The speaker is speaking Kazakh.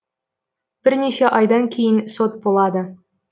бірнеше айдан кейін сот болады